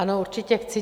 Ano, určitě chci.